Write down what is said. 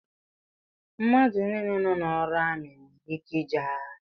Mmadụ nile nọ n'ọrụ amị nwèrè ike ije agha